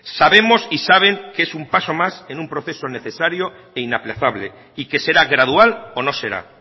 sabemos y saben que es un paso más en un proceso necesario e inaplazable y que será gradual o no será